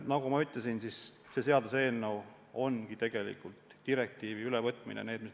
Nagu ma ütlesin, see seaduseelnõu on tegelikult direktiivide ülevõtmise eelnõu.